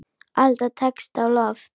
Alda tekst á loft.